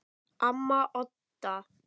Amma Odda.